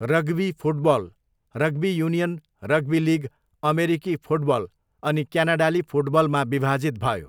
Rugby football rugby union, rugby league, अमेरिकी football, अनि क्यानाडाली फुटबलमा विभाजित भयो।